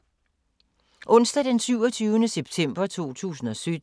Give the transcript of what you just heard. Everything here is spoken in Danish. Onsdag d. 27. september 2017